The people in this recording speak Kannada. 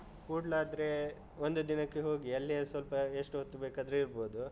ಕೂಡ್ಲಾದ್ರೆ ಒಂದು ದಿನಕ್ಕೆ ಹೋಗಿ, ಅಲ್ಲಿಯೇ ಸ್ವಲ್ಪ ಎಷ್ಟು ಹೊತ್ತು ಬೇಕಾದ್ರೂ ಇರ್ಬೋದು.